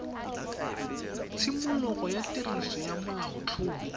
tshimologo ya tiriso ya molaotlhomo